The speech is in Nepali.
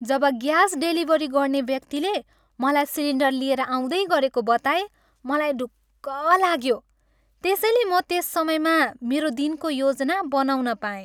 जब ग्यास डेलिभरी गर्ने व्यक्तिले मलाई सिलिन्डर लिएर आउँदै गरेको बताए मलाई ढुक्क लाग्यो, त्यसैले म त्यस समयमा मेरो दिनको योजना बनाउन पाएँ।